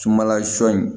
Sumanla sɔ in